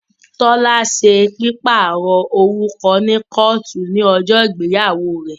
Tọ́lá ṣe pípàrọ̀ orúkọ ní kọ́ọ̀tù ní ọjọ́ ìgbéyàwó rẹ̀